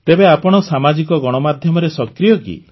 ତେବେ ଆପଣ ସାମାଜିକ ଗଣମାଧ୍ୟମରେ ସକ୍ରିୟ କି